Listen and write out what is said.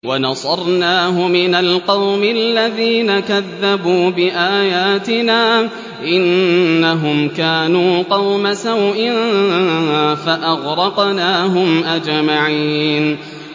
وَنَصَرْنَاهُ مِنَ الْقَوْمِ الَّذِينَ كَذَّبُوا بِآيَاتِنَا ۚ إِنَّهُمْ كَانُوا قَوْمَ سَوْءٍ فَأَغْرَقْنَاهُمْ أَجْمَعِينَ